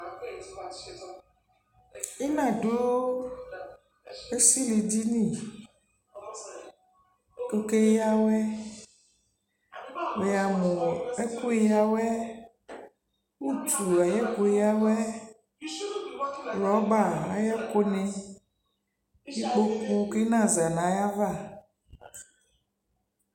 Ɩna dʋ esilidini k'okeyǝwɛ; wʋyamʋ ɔ ɛkʋ yǝwɛ, utu ay'ɛkʋyǝwɛ, rɔba ayɛkʋnɩ, kʋ ɩna za n'ayava